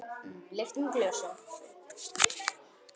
Lyftum glösum!